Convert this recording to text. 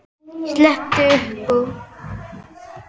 Ég skellti upp úr.